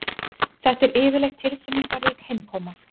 Þetta er yfirleitt tilfinningarík heimkoma